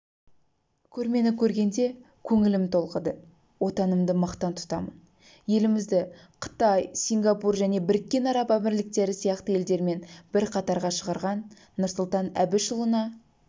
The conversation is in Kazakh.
көрмені көргенде көңілім толқыды отанымды мақтан тұтамын елімізді қытай сингапур және біріккен араб әмірліктері сияқты елдермен бір қатарға шығарған нұрсұлтан әбішұлына